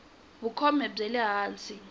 vukhume byi le hansi